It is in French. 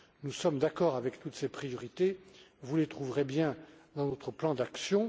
Nous sommes d'accord avec toutes ces priorités, vous les trouverez bien dans notre plan d'action.